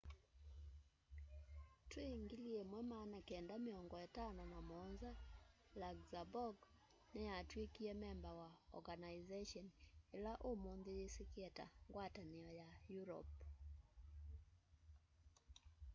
twî 1957 luxembourg niyatwikie memba wa organization ila umunthi yisikie ta ngwatanio ya europe